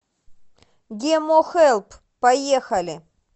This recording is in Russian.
гемохелп поехали